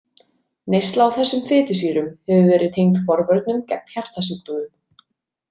Neysla á þessum fitusýrum hefur verið tengd forvörnum gegn hjartasjúkdómum.